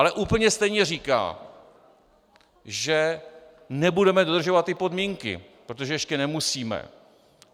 Ale úplně stejně říká, že nebudeme dodržovat ty podmínky, protože ještě nemusíme.